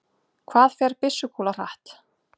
hvað fer byssukúla hratt